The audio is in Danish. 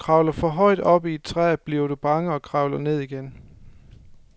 Når du kravler for højt op i et træ, bliver du bange og kravler ned igen.